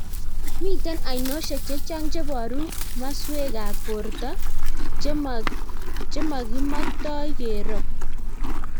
Mitei ainashiek chechang cheboru maswek ab borto chemakimaktoi keroo,